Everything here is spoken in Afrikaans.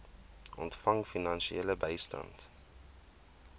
ontvang finansiële bystand